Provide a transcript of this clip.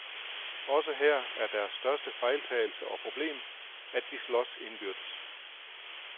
Også her er deres største fejltagelse og problem, at de slås indbyrdes.